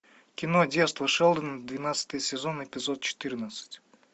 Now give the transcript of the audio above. кино детство шелдона двенадцатый сезон эпизод четырнадцать